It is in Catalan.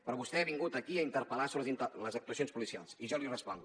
però vostè ha vingut aquí a interpel·lar sobre les actuacions policials i jo li responc